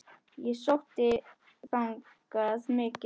Og ég sótti þangað mikið.